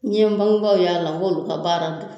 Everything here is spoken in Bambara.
N ye n bangebaaw y'a la n k'olu ka baara don